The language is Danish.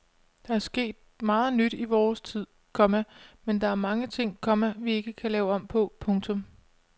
Der er sket meget nyt i vores tid, komma men der er mange ting, komma vi ikke vil lave om på. punktum